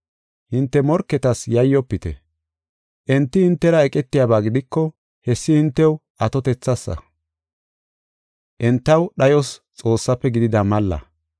Hinte morketas yayyofite. Enti hintera eqetiyaba gidiko hessi hintew atotethas, entaw dhayos Xoossaafe gidida malla.